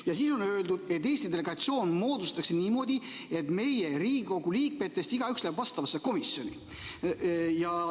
Ja siin on öeldud, et Eesti delegatsioon moodustatakse niimoodi, et meie Riigikogu liikmetest igaüks läheb vastavasse komisjoni.